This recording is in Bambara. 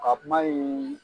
A kuma in